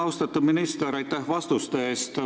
Austatud minister, aitäh vastuse eest!